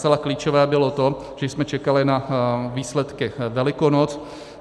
Zcela klíčové bylo to, že jsme čekali na výsledky Velikonoc.